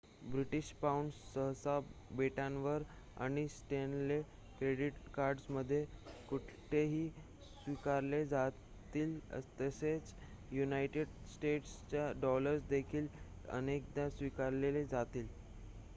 British pound सहसा बेटांवर आणि स्टॅनले क्रेडिट कार्ड्समध्ये कुठेही स्वीकारले जातील तसेच युनायटेड स्टेट्सचे डॉलर्स देखील अनेकदा स्वीकारले जातील